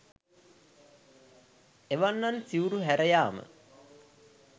එවැන්නන් සිවුරු හැර යාම